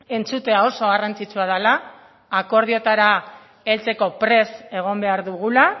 entzutea oso garrantzitsua dela akordioetara heltzeko prest egon behar dugula